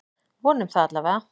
Vonum það allavega!